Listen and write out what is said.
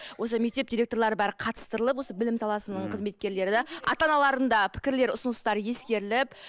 осы мектеп директорлары бәрі қатыстырлып осы білім саласының қызметкерлері де ата аналардың да пікірлері ұсыныстары ескеріліп